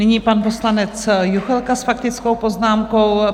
Nyní pan poslanec Juchelka s faktickou poznámkou.